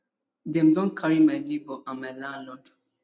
dem don carry my neighbour and my landlord